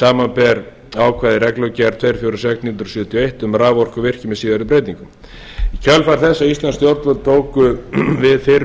samanber ákvæði í reglugerð tvö hundruð fjörutíu og sex nítján hundruð sjötíu og eitt um raforkuvirkjun með síðari breytingum í kjölfar þess að íslensk stjórnvöld tóku við fyrrum